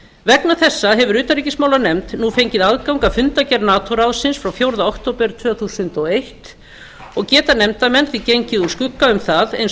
vegna þessa hefur utanríkismálanefnd nú fengið aðgang að fundargerð nato ráðsins frá fjórða október tvö þúsund og eins og geta nefndarmenn því gengið úr skugga um það eins og